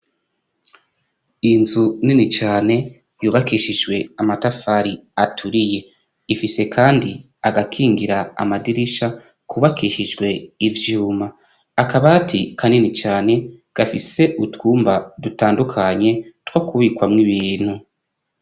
Inzu nini cane, yubakishijwe amatafari aturiye, ifise kandi agakingira amadirisha kubakishijwe ivyuma akabati kanini cane gafise, utwumba dutandukanye two kubikwa mw'ibintu.